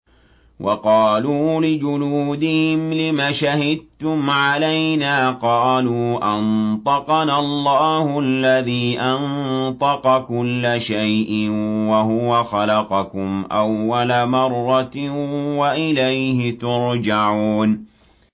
وَقَالُوا لِجُلُودِهِمْ لِمَ شَهِدتُّمْ عَلَيْنَا ۖ قَالُوا أَنطَقَنَا اللَّهُ الَّذِي أَنطَقَ كُلَّ شَيْءٍ وَهُوَ خَلَقَكُمْ أَوَّلَ مَرَّةٍ وَإِلَيْهِ تُرْجَعُونَ